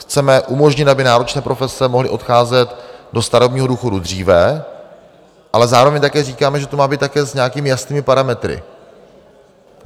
Chceme umožnit, aby náročné profese mohly odcházet do starobního důchodu dříve, ale zároveň také říkáme, že to má být také s nějakými jasnými parametry.